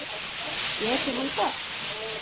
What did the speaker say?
Getur hann það?